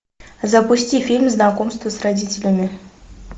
запусти фильм знакомство с родителями